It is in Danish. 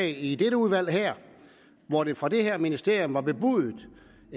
i dette udvalg hvor der fra det her ministerium blev bebudet et